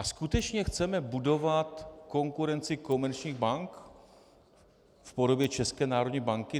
A skutečně chceme budovat konkurenci komerčních bank v podobě České národní banky?